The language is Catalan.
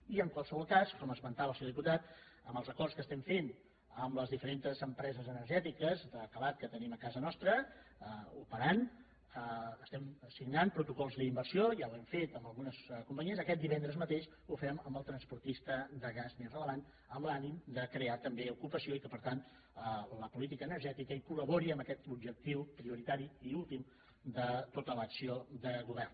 i en qualsevol cas com esmentava el senyor diputat amb els acords que estem fent amb les diferents empreses energètiques de calat que tenim a casa nostra operant estem signant protocols d’inversió ja ho hem fet amb algunes companyies aquest divendres mateix ho fem amb el transportista de gas més rellevant amb l’ànim de crear també ocupació i que per tant la política energètica col·labori en aquest objectiu prioritari i últim de tota l’acció de govern